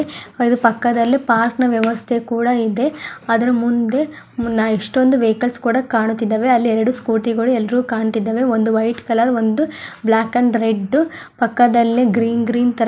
ಅದು ಪಕ್ಕದಲ್ಲೇ ಪಾರ್ಕನ ವ್ಯವಸ್ಥೆ ಕೂಡ ಇದೆ ಅದರ ಮುಂದೆ ಎಷ್ಟೊಂದು ವೆಹಿಕಲ್ಸ್ ಕೂಡ ಕಾಣುತ್ತಿದ್ದವೆ ಅಲ್ಲಿ ಎರೆಡು ಸ್ಕೂಟಿ ಗಳು ಎಲ್ಲರಿಗು ಕಾಣುತಿದಾವೆ ಒಂದು ವೈಟ್ ಕಲರ್ ಒಂದು ಬ್ಲಾಕ್ ಅಂಡ್ ರೆಡ್ ಪಕ್ಕದಲ್ಲೇ ಗ್ರೀನ್ ಗ್ರೀನ್ ತರ --